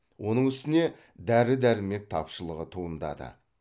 оның үстіне дәрі дәрмек тапшылығы туындады